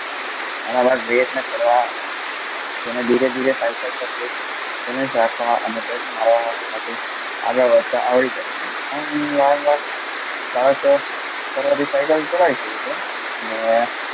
તારા માટે પ્રયત્ન કરવા તેને ધીરે ધીરે સાઈકલ પર જાય આગળ વધતા આવડી જાય છે પ્રયત્ન કરવાથી સાયકલ ચલાવી શકે છે અને,